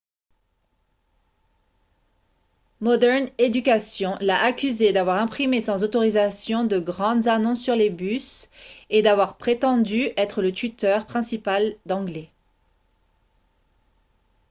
modern education l'a accusé d'avoir imprimé sans autorisation de grandes annonces sur les bus et d'avoir prétendu être le tuteur principal d'anglais